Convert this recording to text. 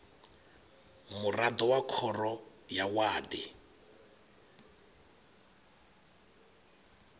muraḓo wa khoro ya wadi